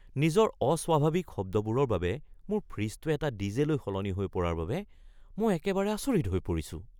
নিজৰ অস্বাভাৱিক শব্দবোৰৰ বাবে মোৰ ফ্ৰিজটোৱে এটা ডিজে-লৈ সলনি হৈ পৰাৰ বাবে মই একেবাৰে আচৰিত হৈ পৰিছোঁ।